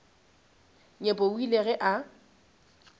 nyepo o ile ge a